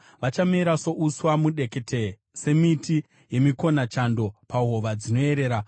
Vachamera souswa mudekete, semiti yemikonachando pahova dzinoyerera.